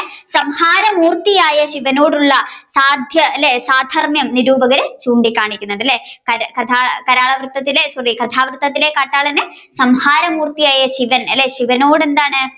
സംഭാരമൂർത്തിയായ ശിവനോടുള്ള സാധ്യ അല്ലെ സാധർമ്യം നിരൂപകർ ചൂണ്ടികാണിക്കുന്നുണ്ട് അല്ലെ കല അല്ല sorry കഥാകൃതത്തിലെ കാട്ടാളൻ സംഭരമൂർത്തിയായ ശിവനോട് എന്താണ്